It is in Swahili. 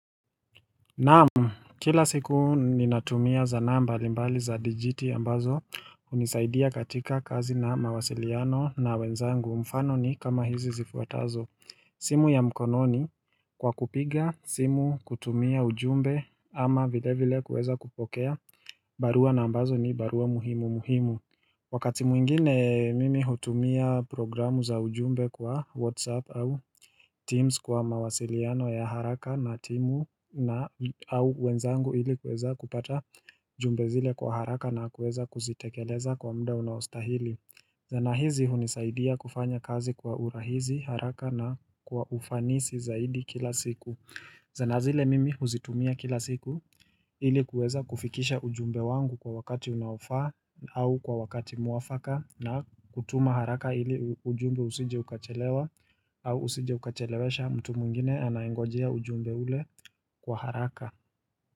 Naam kila siku ninatumia sanaa mbali za digiti ambazo unisaidia katika kazi na mawasiliano na wenzangu mfano ni kama hizi zifuatazo simu ya mkononi kwa kupiga simu kutumia ujumbe ama vile vile kuweza kupokea barua na ambazo ni barua muhimu muhimu Wakati mwingine mimi hutumia programu za ujumbe kwa Whatsapp au Teams kwa mawasiliano ya haraka na timu au wenzangu ili kueza kupata jumbe zile kwa haraka na kueza kuzitekeleza kwa mda unaostahili sana hizi hunisaidia kufanya kazi kwa urahisi haraka na kwa ufanisi zaidi kila siku sanaa zile mimi uzitumia kila siku ili kuweza kufikisha ujumbe wangu kwa wakati unaofaa au kwa wakati mwafaka na kutuma haraka ili ujumbe usije ukachelewa au usije ukachelewesha mtu mwingine anayengojia ujumbe ule kwa haraka.